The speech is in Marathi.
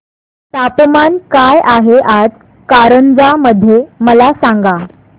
तापमान काय आहे आज कारंजा मध्ये मला सांगा